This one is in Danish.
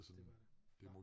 Det var det hvad?